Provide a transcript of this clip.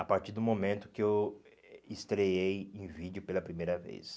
a partir do momento que eu estreei em vídeo pela primeira vez.